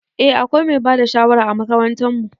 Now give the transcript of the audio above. Eh akwai mai bada shawara a makarantan mu.